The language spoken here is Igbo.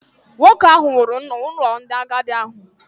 Nwoke ahụ nwụrụ n’ụlọ ndị agadi ahụ